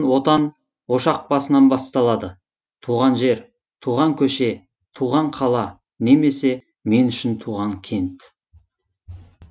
отан ошақ басынан басталады туған жер туған көше туған қала немесе мен үшін туған кент